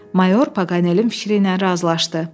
Mayor Poqanelin fikri ilə razılaşdı.